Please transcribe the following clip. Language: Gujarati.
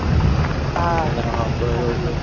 હા બઉ